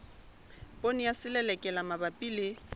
poone ya selelekela mabapi le